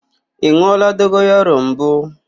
Ị n̄ụọla dogoyaro mbụ?